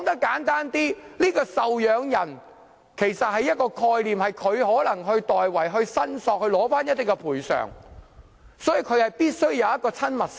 簡單來說，"受養人"其實是一種概念，可能會代為申索賠償，所以必須有親密性。